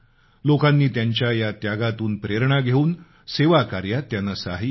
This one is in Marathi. लोकांनी त्यांच्या या त्यागातून प्रेरणा घेऊन सेवा काऱ्यात त्यांना सहाय्य केलं